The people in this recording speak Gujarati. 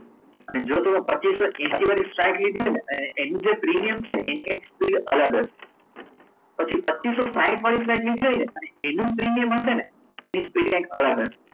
અને જો પચિસો હેસિ વાળી સાઈડ લીધી હોય ને તો એનું જે પ્રીમિયમ હોય છે એની કંઈક સ્પીડ અલગ હશે પછી પચિસો સાહિથ વાળી ફાઈલ લીધી હોય એનો પ્રીમિયમ એની સ્પીડ કઈક અલગ હશે